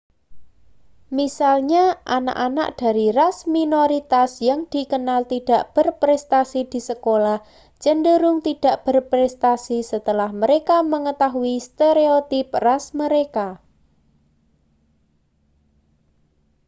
misalnya anak-anak dari ras minoritas yang dikenal tidak berprestasi di sekolah cenderung tidak berprestasi setelah mereka mengetahui stereotip ras mereka